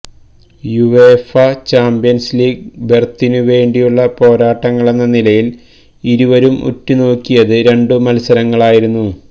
UEFA Champions League ബെര്ത്തിനു വേണ്ടിയുള്ള പോരാട്ടങ്ങളെന്ന നിലയില് ഏവരും ഉറ്റുനോക്കിയത് രണ്ടു മല്സരങ്ങളായിരുന്നു